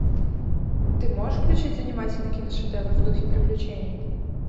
ты можешь включить занимательный киношедевр в духе приключений